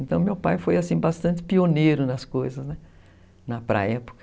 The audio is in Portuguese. Então meu pai foi bastante pioneiro nas coisas, né, para a época.